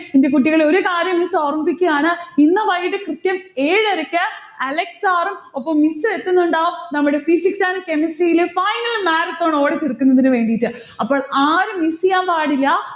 എന്റെ കുട്ടികളെ ഒരു കാര്യം miss ഓർമ്മിപ്പിക്കയാണ്. ഇന്ന് വൈകിട്ട് കൃത്യം ഏഴരക്ക് അലക്സ് sir ഉം ഒപ്പം miss ഉം എത്തുന്നുണ്ടാവും നമ്മടെ physics and chemistry ലെ final marathon ഓടിത്തീർക്കുന്നതിന് വേണ്ടിയിട്ട്. അപ്പൊൾ ആരും miss യ്യാൻ പാടില്ല.